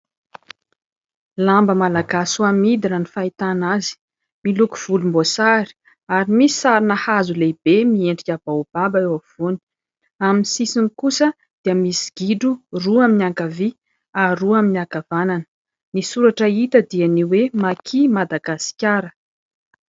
Lamba malagasy ho amidy raha ny fahitana azy, miloko volomboasary ary misy sarina hazo lehibe miendrika baobab eo ampovoany. Amin'ny sisiny kosa dia misy gidro roa amin'ny ankavia ary roa amin'ny ankavanana. Ny soratra hita dia hoe "Maki Madagasikara".